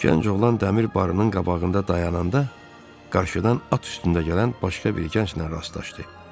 Gənc oğlan dəmir barının qabağında dayananda qarşıdan at üstündə gələn başqa bir gənclə rastlaşdı.